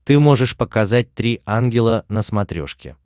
ты можешь показать три ангела на смотрешке